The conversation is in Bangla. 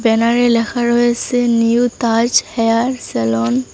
ব্যানারে লেখা রয়েছে নিউ তাজ হেয়ার সেলন ।